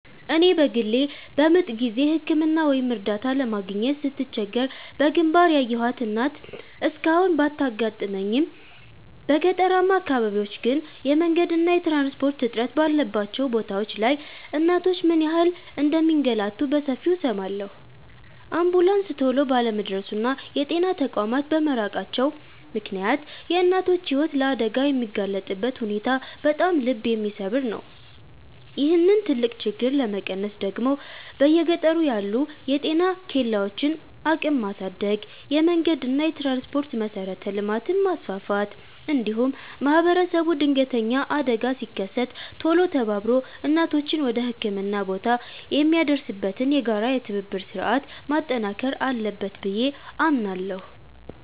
እኔ በግሌ በምጥ ጊዜ ሕክምና ወይም እርዳታ ለማግኘት ስትቸገር በግንባር ያየኋት እናት እስካሁን ባታጋጥመኝም፣ በገጠራማ አካባቢዎች ግን የመንገድና የትራንስፖርት እጥረት ባለባቸው ቦታዎች ላይ እናቶች ምን ያህል እንደሚንገላቱ በሰፊው እሰማለሁ። አምቡላንስ ቶሎ ባለመድረሱና የጤና ተቋማት በመራቃቸው ምክንያት የእናቶች ሕይወት ለአደጋ የሚጋለጥበት ሁኔታ በጣም ልብ የሚሰብር ነው። ይህንን ትልቅ ችግር ለመቀነስ ደግሞ በየገጠሩ ያሉ የጤና ኬላዎችን አቅም ማሳደግ፣ የመንገድና የትራንስፖርት መሠረተ ልማትን ማስፋፋት፣ እንዲሁም ማኅበረሰቡ ድንገተኛ አደጋ ሲከሰት ቶሎ ተባብሮ እናቶችን ወደ ሕክምና ቦታ የሚያደርስበትን የጋራ የትብብር ሥርዓት ማጠናከር አለበት ብዬ አምናለሁ።